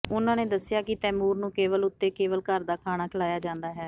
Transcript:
ਉਨ੍ਹਾਂ ਨੇ ਦੱਸਿਆ ਕਿ ਤੈਮੂਰ ਨੂੰ ਕੇਵਲ ੳਤੇ ਕੇਵਲ ਘਰ ਦਾ ਖਾਣਾ ਖਿਲਾਇਆ ਜਾਂਦਾ ਹੈ